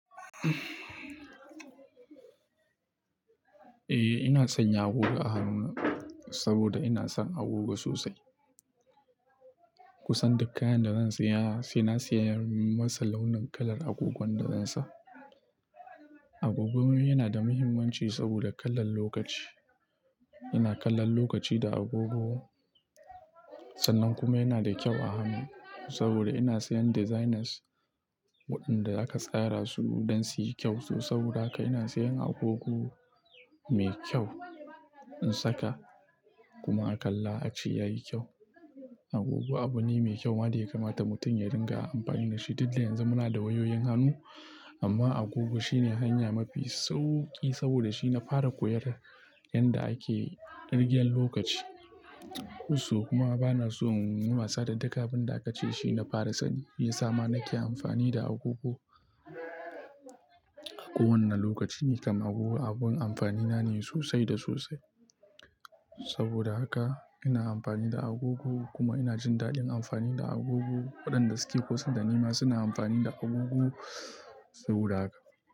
Eh, ina sanya agogo a hannuna, saboda ina son agogo sosai. Kusan duk kayan da zan saya sai na sayar masa launin kalar agogon da zan sa. Agogo yana da muhimmanci saboda kallan lokaci. Ina kallon lokaci da agogo, Sannan kuma yana da kyau a hannu. Saboda ina sayan designers waɗanda aka tsara su don su yi kyau, so saboda haka ina sayan agogo mai kyau in saka kuma a kalla a ce yayi kyau. Agogo abu ne mai kyau ma da ya kamata mutum ya ringa amfani da shi. Duk da yanzu muna da wayoyin hannu, amma agogo shine hanya mafi sauƙi saboda shi na fara koyar yanda ake ƙirgen lokaci. Kusau! Kuma bana son in yi wasa da duka abun da aka ce shi na fara sani. Shi yasa ma nake amfani da agogo. Kowanne lokaci nikam agogo abun amfani na ne sosai da sosai. Saboda haka ina amfani da agogo kuma ina jin daɗin amfani da agogo waɗanda suke kusan da ni ma suna amfani da agogo saboda haka.